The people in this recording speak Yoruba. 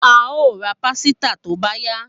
A o ra pàsìtà tó bá yá